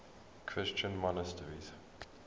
christian monasteries